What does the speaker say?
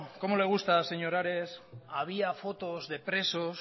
cómo le gusta señor ares había fotos de presos